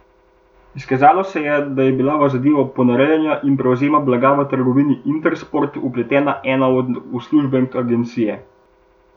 Izkazalo se je, da je bila v zadevo ponarejanja ter prevzema blaga v trgovini Intersport vpletena ena od uslužbenk agencije.